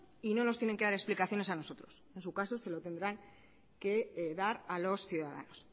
y no nos tienen que dar explicaciones a nosotros en su caso se lo tendrán que dar a los ciudadanos